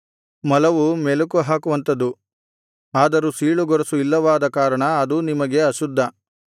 ಮೊಲವೂ ಮೆಲಕುಹಾಕುವಂಥದು ಆದರೂ ಸೀಳುಗೊರಸು ಇಲ್ಲವಾದ ಕಾರಣ ಅದೂ ನಿಮಗೆ ಅಶುದ್ಧ